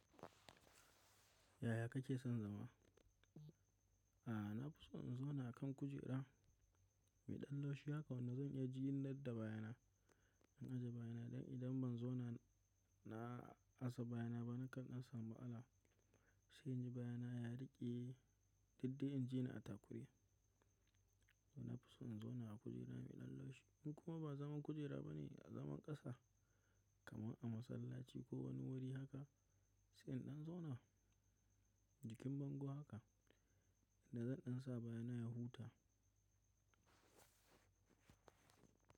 Yaya kake son zama? A'a, na fi so in zauna a kan kujera mai ɗan laushi, haka wanna zan iya jin yarda da bayana. In ajiye bayana idan ban zauna na asa bayana ba, nakan asa ma'ala. Sai in ji bayana ya riƙe, duk dai in je na atakuri. To na fi so in zauna a kujera mai ɗan laushi. In kuma ba zaman kujera ba ne, a zaman ƙasa kamar a masallaci ko wani wuri haka, sai in ɗan zauna jikin bango haka da zan ɗan sa bayana ya huta.